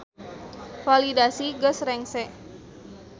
Validasi geus rengse.